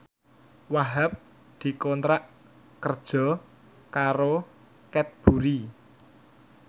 Wahhab dikontrak kerja karo Cadbury